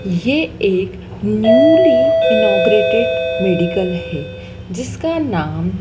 ये एक newly inaugurated medical है जिसका नाम--